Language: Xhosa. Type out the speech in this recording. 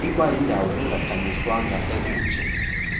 ikwayindawo engakhanyiswanga obunje